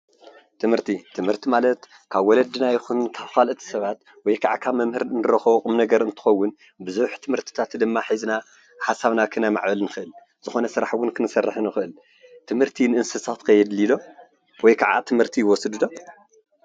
ትምህርቲ፦ ትምህርቲ ማለት ካብ ወለድና ይኹን ካብ ኻልኦት ሰባት ወይከዓ ካብ መምህር እንረኽቦ ቁምነገር እንትኸውን ብዙሕ ትምህርትታት ድማ ሒዝና ሓሳብና ከነማዕብል ንኽእል ዝኾነ ስራሕ እውን ክንሰርሕ ንኽእል ትምህርቲ ንእንስሳከ የድልይ ዶ ወይ ከዓ ትምህርቲ ይወስዱ ዶ ?